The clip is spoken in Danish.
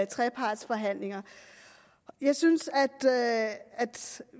trepartsforhandlinger jeg synes at